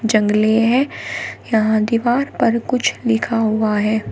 जंगले है यहां दीवार पर कुछ लिखा हुआ है।